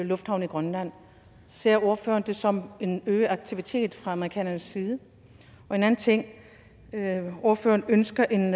lufthavne i grønland ser ordføreren det som en øget aktivitet fra amerikanernes side en anden ting ordføreren ønsker en